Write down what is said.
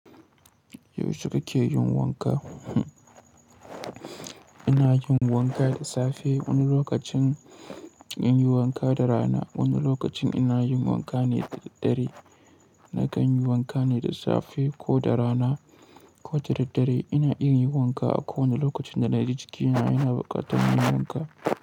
Yaushe kake yin wanka? Ina yin wanka da safe. Wani lokacin in yi wanka da rana. Wani lokacin ina yin wanka ne da dare. Na kan yi wanka ne da safe ko da rana ko da daddare. Ina iya yin wanka a kowane lokacin da na ji jikina yana buƙatar yin wanka.